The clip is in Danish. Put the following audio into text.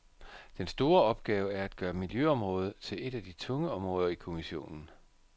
Den store opgave er at gøre miljøområdet til et af de tunge områder i kommissionen.